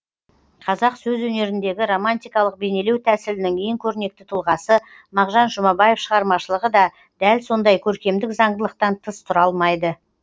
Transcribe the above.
қазақ сөз өнеріндегі романтикалық бейнелеу тәсілінің ең көрнекті тұлғасы мағжан жұмабаев шығармашылығы да дәл сондай көркемдік заңдылықтан тыс тұра алмайды